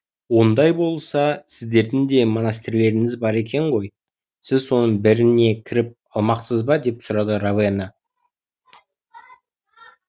ондай болса сіздердің де монастырьлеріңіз бар екен ғой сіз соның біріне кіріп алмақсыз ба деп сұрады ровена